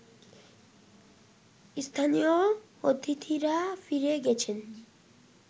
স্থানীয় অতিথিরা ফিরে গেছেন